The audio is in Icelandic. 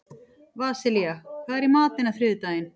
Vasilia, hvað er í matinn á þriðjudaginn?